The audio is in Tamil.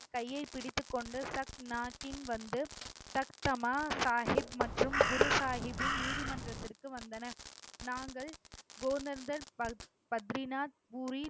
கையை பிடித்துக் கொண்டு சத் நாகின் வந்து சக் தமா சாகிப் மற்றும் குரு சாகிபின் நீதிமன்றத்திற்கு வந்தனர். நாங்கள், கோதண்டர், பத்~ பத்ரிநாத்பூரி